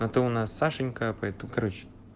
а ты у нас сашенька поэтому короче